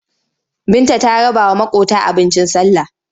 Binta ta rabawa maƙota abincin sallah.